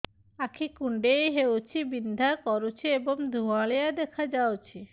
ଆଖି କୁଂଡେଇ ହେଉଛି ବିଂଧା କରୁଛି ଏବଂ ଧୁଁଆଳିଆ ଦେଖାଯାଉଛି